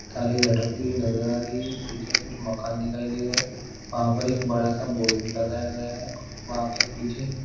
तारे लटकती हुई नज़र आ रही है पीछे कुछ मकान दिखाई दे रहे है वाहा पर एक बड़ा सा बोर्ड लगाया गया है वहा पर पीछे--